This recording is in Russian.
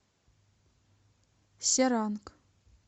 серанг